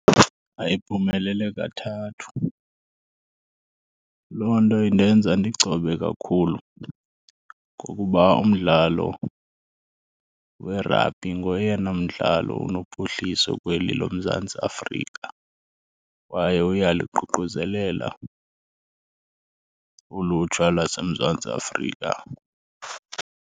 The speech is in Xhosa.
Ayiphumelele kathathu. Loo nto indenza ndigcobe kakhulu ngokuba umdlalo werabhi ngoyena mdlalo unophuhliso kweli loMzantsi Afrika kwaye uyaluququzelela ulutsha lwaseMzantsi Afrika.